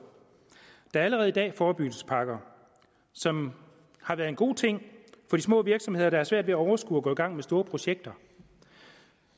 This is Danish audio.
der er allerede i dag forebyggelsespakker som har været en god ting for de små virksomheder der har svært ved at overskue at gå i gang med store projekter